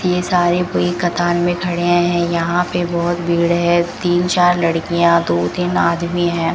ये सारे कोई कतार में खड़े हैं यहां पे बहुत भीड़ है तीन चार लड़कियां दो तीन आदमी हैं।